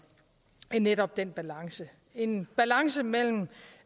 netop den balance en balance mellem